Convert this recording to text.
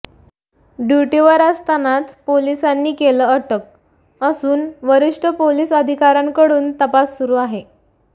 ड्युटीवर असतानाच पोलिसांनी केलं अटक असून वरिष्ठ पोलीस अधिकाऱ्यांकडून तपास सुरु आहे